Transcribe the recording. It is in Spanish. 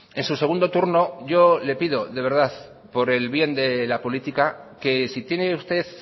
en su segundo turno yo le pido de verdad por el bien de la política que si tiene usted